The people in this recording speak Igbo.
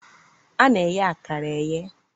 A na-eye akara eye.